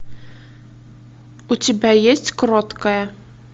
у тебя есть кроткая